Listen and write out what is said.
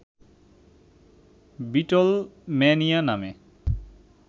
Beatlemania নামে